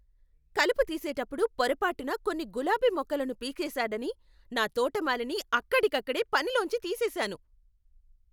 కలుపు తీసేటప్పుడు పొరపాటున కొన్ని గులాబీ మొక్కలను పీకేసాడని నా తోటమాలిని అక్కడికక్కడే పనిలోంచి తీసేసాను.